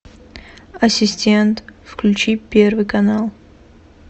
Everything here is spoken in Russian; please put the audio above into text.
ассистент включи первый канал